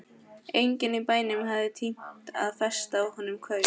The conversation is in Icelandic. Enginn í bænum hafði tímt að festa á honum kaup.